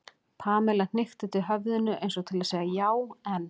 Pamela hnykkti til höfðinu eins og til að segja já, en.